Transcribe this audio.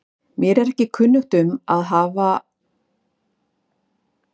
Mér er ekki kunnugt um að reynt hafi verið að finna íslenskt heiti fyrir tennis.